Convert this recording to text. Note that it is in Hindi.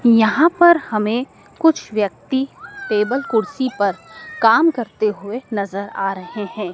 यहां पर हमें कुछ व्यक्ति टेबल कुर्सी पर काम करते हुए नजर आ रहे हैं।